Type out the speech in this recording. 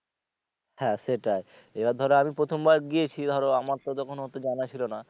হ্যা সেটাই এবার ধরো আমি প্রথমবার গিয়েছি ধরো আমার তো তখন অতো জানা ছিলো না।